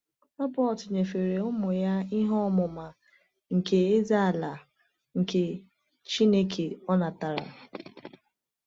Robert nyefere ụmụ ya ihe ọmụma nke Eze-ala nke Chineke o natara.